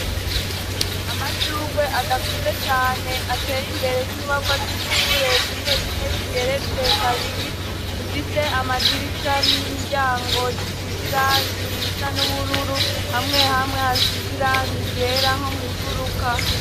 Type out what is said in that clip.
Amashurwe adakuze cane ateye imbere y'inyubakwa z'ishure zimwe zimwe zigeretse kabiri, zifise amadirisha n'imiryango, zisize irangi risa n'ubururu, hamwe hamwe hasize irangi ryera nko mw'ifuruka.